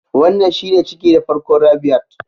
Wannan shine ciki na farko Rabiat